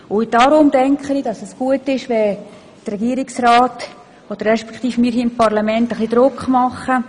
Deshalb denke ich, es wäre gut, wenn der Regierungsrat, bzw. wir hier als Parlament etwas Druck machten.